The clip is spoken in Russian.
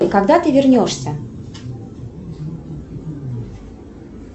когда ты вернешься